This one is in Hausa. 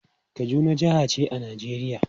Kaduna jaha ce a Najeriya.